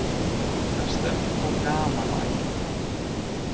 Það er stemning og gaman á æfingum.